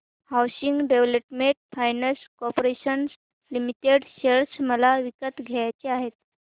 housing development finance corporation limited share मला विकत घ्यायचे आहेत